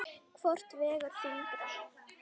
Hvort vegur þyngra?